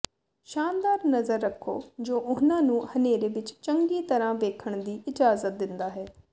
ਸ਼ਾਨਦਾਰ ਨਜ਼ਰ ਰੱਖੋ ਜੋ ਉਨ੍ਹਾਂ ਨੂੰ ਹਨੇਰੇ ਵਿਚ ਚੰਗੀ ਤਰ੍ਹਾਂ ਵੇਖਣ ਦੀ ਇਜਾਜ਼ਤ ਦਿੰਦਾ ਹੈ